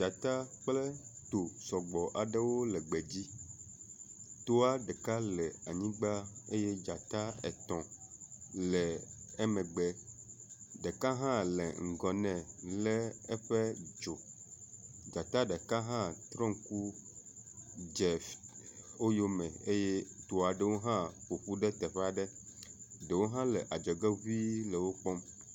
Dzata kple to sɔgbɔ aɖewo le gbe dzi toa ɖeka le anyigba eye dzata etɔ̃ le emegbe. Ɖeka hã le ŋgɔ nɛ lé eƒe dzo. Dzata ɖeka hã trɔ ŋku dze f..wo yome eye toa ɖewo hã ƒoƒu ɖe teƒe aɖe ɖewo hã le adzɔge ŋui le wo kpɔm.